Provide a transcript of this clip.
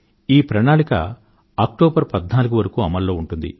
ఈ ప్రణాళిక అక్టోబర్ 14వ తేదీ వరకు అమలులో ఉంటుంది